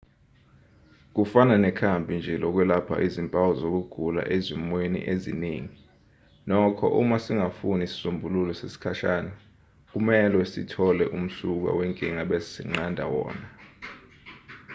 kufana nekhambi nje lokwelapha izimpawu zokugula ezimweni eziningi nokho uma singafuni isisombululo sesikhashana kumelwe sithole umsuka wenkinga bese sinqanda wona